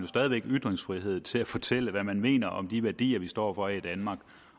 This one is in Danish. stadig væk ytringsfrihed til at fortælle hvad man mener om de værdier vi står for i danmark